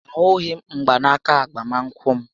A hughị m mgbanaka agbamakwụkwọ m